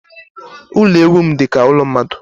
Ụlọ ewu m dịka ụlọ mmadụ.